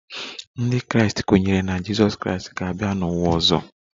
Ndị Kraịst kwenyere na Jizọs Kraịst ga-abịa n'ụwa ọzọ